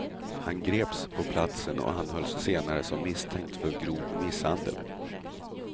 Han greps på platsen och anhölls senare som misstänkt för grov misshandel.